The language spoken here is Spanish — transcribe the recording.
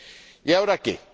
Y, ahora, ¿qué?